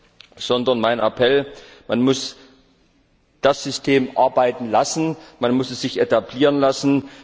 Und deshalb mein Appell Man muss das System arbeiten lassen, man muss es sich etablieren lassen.